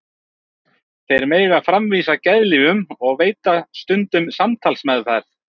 Þeir mega framvísa geðlyfjum og veita stundum samtalsmeðferð.